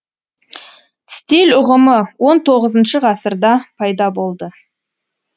стиль ұғымы он тоғызыншы ғасырда пайда болды